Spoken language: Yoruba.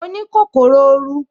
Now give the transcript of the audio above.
Mo ní kòkòrò oru